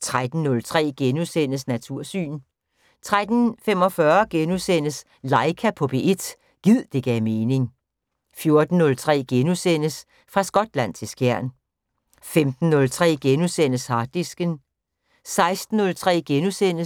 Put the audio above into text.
13:03: Natursyn * 13:45: Laika på P1 - gid det gav mening * 14:03: Fra Skotland til Skjern * 15:03: Harddisken *